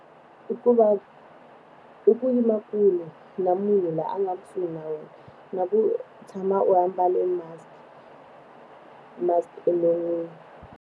I ku va, i ku yima kule na munhu loyi a nga kusuhi na wena, na ku tshama u ambale musk musk enon'wini.